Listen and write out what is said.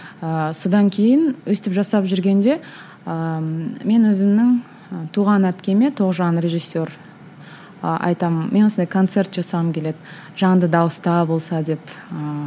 ыыы содан кейін өстіп жасап жүргенде ыыы мен өзімнің і туған әпкеме тоғжан режиссер ы айтамын мен осылай концерт жасағым келеді жанды дауыста болса деп ыыы